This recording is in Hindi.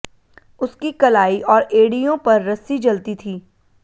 उसकी कलाई और एड़ियों पर रस्सी जलती थी